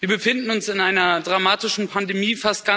Wir befinden uns in einer dramatischen Pandemie.